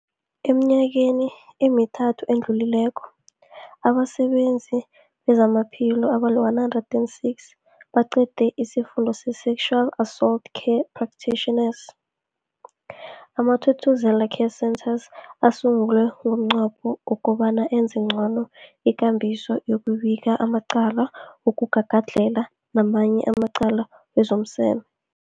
Eminyakeni emithathu edluleko, abasebenzi bezamaphilo abali-106 baqede isiFundo se-Sexual Assault Care Practitioners. AmaThuthuzela Care Centres asungulwa ngomnqopho wokobana enze ngcono ikambiso yokubika amacala wokugagadlhela namanye amacala wezomseme.